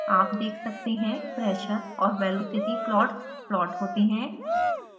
आप देख सकते हैं pressure और velocity प्लॉट्स प्लॉट होते हैं